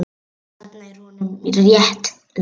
Þarna er honum rétt lýst.